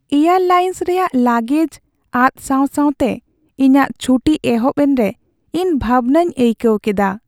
Air lines ᱨᱮᱭᱟᱜ ᱞᱟᱜᱮᱡ ᱟᱫ ᱥᱟᱶ ᱥᱟᱶᱛᱮ ᱤᱧᱟᱹᱜ ᱪᱷᱩᱴᱤ ᱮᱦᱚᱵ ᱮᱱᱨᱮ ᱤᱧ ᱵᱷᱟᱵᱽᱱᱟᱧ ᱟᱹᱭᱠᱟᱹᱣ ᱠᱮᱫᱟ ᱾